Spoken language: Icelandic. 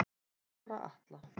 Bára Atla